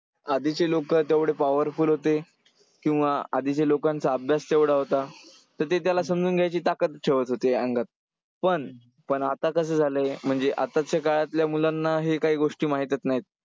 आधीचे लोकं तेवढे powerful होते, किंवा आधीच्या लोकांचा अभ्यास तेवढा होता. तर ते त्याला समजून घ्यायची ताकद ठेवत होते अंगात. पण पण आता कसं झालंय? म्हणजे आताच्या काळातल्या मुलांना हे काही गोष्टी माहीतच नाहीत.